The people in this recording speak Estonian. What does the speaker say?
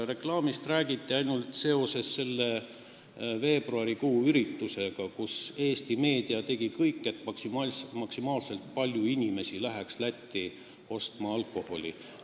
Reklaamist räägiti ainult seoses selle veebruarikuise üritusega, mille puhul Eesti meedia tegi kõik, et maksimaalne arv inimesi läheks Lätti alkoholi ostma.